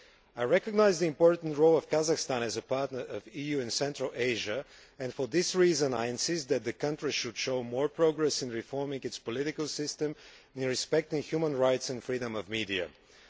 I recognise the important role of Kazakhstan as a partner of the EU in Central Asia, and for this reason I insist that the country should show more progress in reforming its political system and respecting human rights and media freedom.